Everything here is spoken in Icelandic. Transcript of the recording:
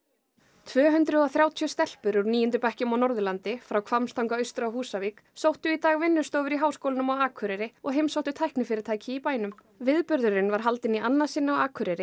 tvö hundruð og þrjátíu stelpur úr níundu bekkjum á Norðurlandi frá Hvammstanga austur á Húsavík sóttu í dag vinnustofur í Háskólanum á Akureyri og heimsóttu tæknifyrirtæki í bænum viðburðurinn var haldinn í annað sinn á Akureyri